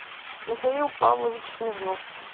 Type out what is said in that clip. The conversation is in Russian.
михаил павлович смирнов